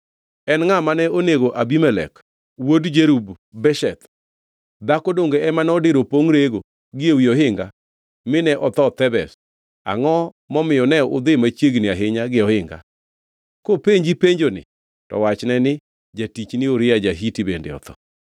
En ngʼa ma nonego Abimelek wuod Jerub-Besheth? Dhako donge ema nodiro pongʼ rego gi ewi ohinga, mine otho Thebez? Angʼo momiyo ne udhi machiegni ahinya gi ohinga?’ Kopenji penjoni, to wachne ni, ‘Jatichni Uria ja-Hiti bende otho.’ ”